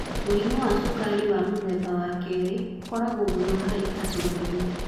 Mũrimũ wa cukari wa mũthemba wa 2 ũkoragwo mũno harĩ andũ agima.